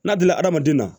N'a dila adamaden na